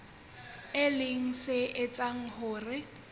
e leng se etsang hore